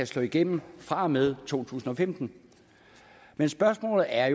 slå igennem fra og med to tusind og femten men spørgsmålet er